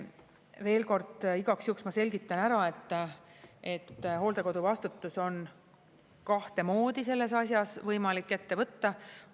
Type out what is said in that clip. Veel kord igaks juhuks ma selgitan ära, et hooldekodu vastutus on kahte moodi selles asjas võimalik ette võtta.